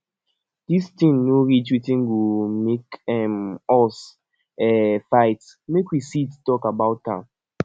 dis thing no reach wetin go make um us um fight make we sit talk about am